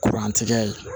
Kurantigɛ ye